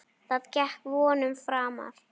Það gekk vonum framar.